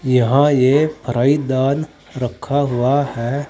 यहां ये फ्राई दाल रखा हुआ है।